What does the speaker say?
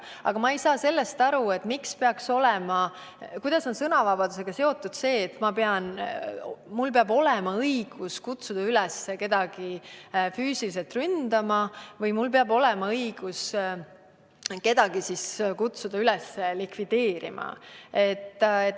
Aga ma ei saa aru sellest, kuidas on sõnavabadusega seotud see, et mul peab olema õigus kutsuda üles kedagi füüsiliselt ründama või et mul peab olema õigus kutsuda üles kedagi likvideerima.